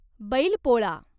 Bailpola